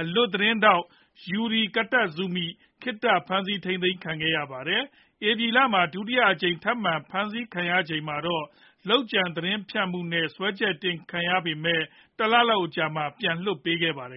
အလွတ်သတင်းထောက် Yuki Kitazumi ခေတ္တဖမ်းဆီးထိန်းသိမ်းခံခဲ့ရပါတယ်။ ဧပြီလမှာ ဒုတိယအကြိမ် ထပ်မံဖမ်းဆီးခံရချိန်မှာတော့ လုပ်ကြံသတင်းဖြန့်မှုနဲ့ စွဲချက်တင်ခံခဲ့ရပေမဲ့ တလလောက် အကြာမှာပဲ ပြန်လွှတ်ပေးခဲ့ပါတယ်